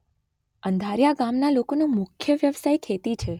અંધારીયા ગામના લોકોનો મુખ્ય વ્યવસાય ખેતી છે.